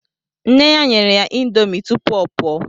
Nne ya nyere ya índomi tụpụ ọ pụọ